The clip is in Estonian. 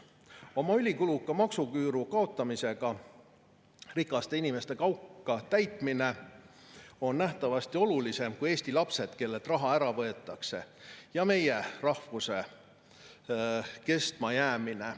Oma ülikuluka maksuküüru kaotamisega rikaste inimeste kauka täitmine on nähtavasti olulisem kui Eesti lapsed, kellelt raha ära võetakse, ja meie rahvuse kestmajäämine.